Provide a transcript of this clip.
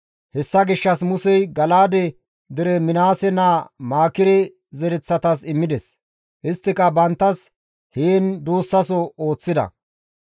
Hessa gishshas Musey Gala7aade dere Minaase naa Maakire zereththatas immides; isttika banttas heen duussaso ooththida.